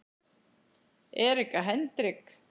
Erika Hendrik